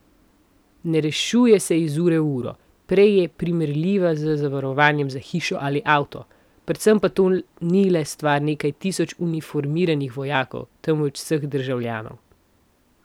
Ne rešuje se iz ure v uro, prej je primerljiva z zavarovanjem za hišo ali avto, predvsem pa to ni le stvar nekaj tisoč uniformiranih vojakov, temveč vseh državljanov.